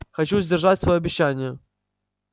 хочу сдержать своё обещание